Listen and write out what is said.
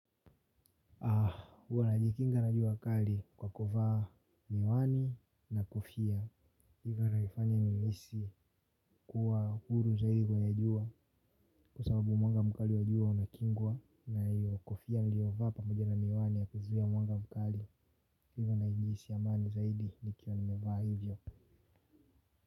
Huwa najikinga na jua kali kwa kuvaa miwani na kofia hivyo inanifanya ninahisi kuwa huru zaidi kwenye jua kwa sababu mwanga mkali wajua unakingwa na hiyo kofia nilio vaa pamoja na miwani ya kuzuia mwanga mkali. Hivo najihisi amani zaidi nikiwa nimevaa hivyo.